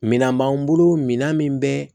Minɛn b'an bolo minan min bɛ